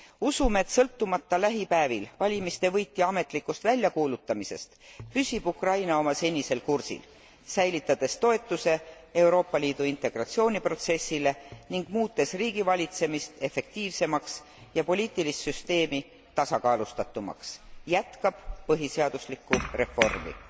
Usun, et sõltumata lähipäevil valimiste võitja ametlikust väljakuulutamisest, püsib Ukraina oma senisel kursil säilitades toetuse Euroopa Liidu integratsiooniprotsessile ning muutes riigi valitsemist efektiivsemaks ja poliitilist süsteemi tasakaalustatumaks ning jätkab põhiseaduslikku reformi.